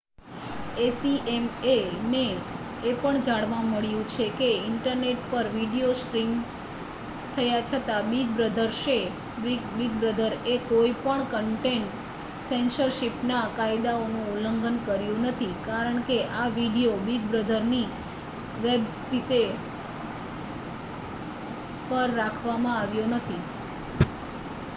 acma ને એ પણ જાણવા મળ્યુ છે કે ઈન્ટરનેટ પર વિડિઓ સ્ટ્રીમ થયા છતાં બિગ બ્રધરએ કોઈ પણ કન્ટેન્ટ સેન્સરશીપ ના કાયદાઓ નું ઉલ્લંઘન કર્યુ નથી કારણ કે આ વિડિઓ બિગ બ્રધર ની વેબ્સિતે પર રાખવા માં આવ્યો નથી